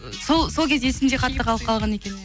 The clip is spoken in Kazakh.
сол сол кез есімде қатты қалып қалған екен